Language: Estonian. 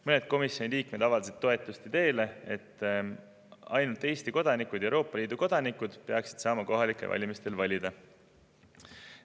Mõned komisjoni liikmed avaldasid toetust ideele, et ainult Eesti kodanikud ja Euroopa Liidu kodanikud peaksid saama kohalikel valimistel valida.